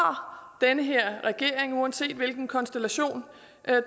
den her regering uanset hvilken konstellation